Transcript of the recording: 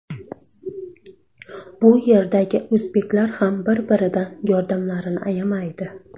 Bu yerdagi o‘zbeklar ham bir-biridan yordamlarini ayamaydi.